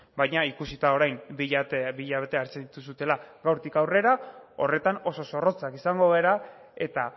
baina ikusita orain bi hilabete hartzen dituzuela gaurtik aurrera horretan oso zorrotzak izango gara eta